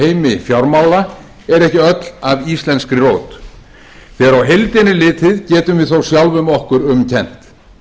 heimi fjármála er ekki öll af íslenskri rót þegar á heildina er litið getum við þó sjálfum okkur um kennt